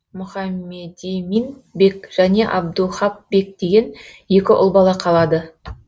мұхаммедимин бек және абдуһап бек деген екі ұл бала қалады